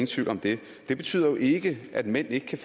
tvivl om det det betyder jo ikke at mænd ikke kan